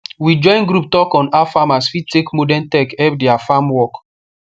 we join group talk on how farmers fit take modern tech help their farm work